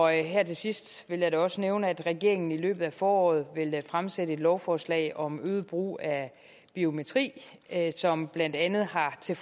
her til sidst vil jeg da også nævne at regeringen i løbet af foråret vil fremsætte et lovforslag om øget brug af biometri som blandt andet har til